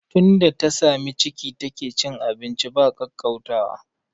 Tunda ta sami ciki take cin abinci ba kwaukwautawa